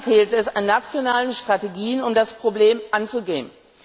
Noch immer fehlt es an nationalen Strategien, um das Problem anzugehen.